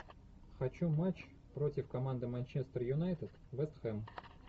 хочу матч против команды манчестер юнайтед вест хэм